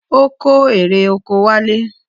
Ó kó erè oko wálé.